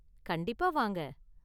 கண்டிப்பா வாங்க!